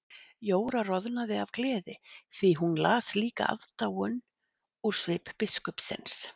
Jóra roðnaði af gleði því hún las líka aðdáun úr svip biskupsins.